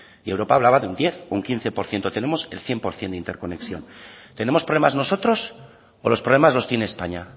y europa hablaba de un diez o un quince por ciento tenemos el cien por ciento de interconexión tenemos problemas nosotros o los problemas los tiene españa